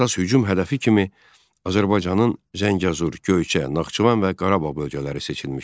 Əsas hücum hədəfi kimi Azərbaycanın Zəngəzur, Göyçə, Naxçıvan və Qarabağ bölgələri seçilmişdi.